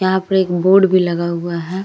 यहाँ पर एक बोर्ड भी लगा हुआ है।